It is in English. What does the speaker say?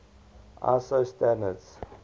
iso standards